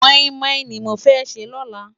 Mòimòi ni mó fè jè lòlá